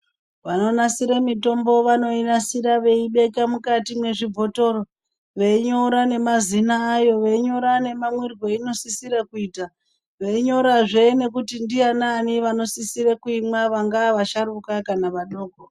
Vanonasira mitombo vanoinasira veiibeka mukati mezvibhotoro veinyora nemazina ayo veinyora nemamwirwo einosisira kuita. Veinyorazve kuti ndaanani vanosisire kuimwa vangaa vasharuka kana vadoko.